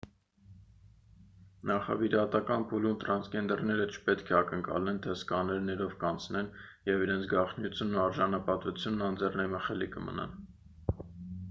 նախավիրահատական փուլում թրանսգենդերները չպետք է ակնկալեն թե սկաներներով կանցնեն և իրենց գաղտնիությունն ու արժանապատվությունն անձեռնամխելի կմնան